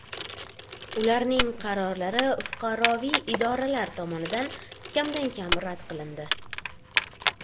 Ularning qarorlari fuqaroviy idoralar tomonidan kamdan-kam rad qilindi.